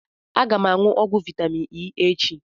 M ga-aṅụ ọgwụ vitamin E echi